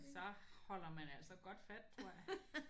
Så holder man altså godt fat tror jeg